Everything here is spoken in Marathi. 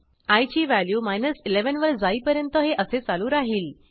आय ची व्हॅल्यू 11 वर जाईपर्यंत हे असे चालू राहिल